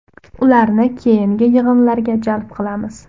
Ularni keyingi yig‘inlarga jalb qilamiz.